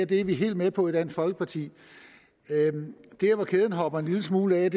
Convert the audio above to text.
det er vi helt med på i dansk folkeparti der hvor kæden hopper en lille smule af